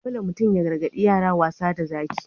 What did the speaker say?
Dole mutum ya gargadi yara wasa da Zaki.